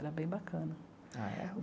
Era bem bacana. Ah é